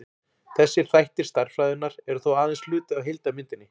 þessir þættir stærðfræðinnar eru þó aðeins hluti af heildarmyndinni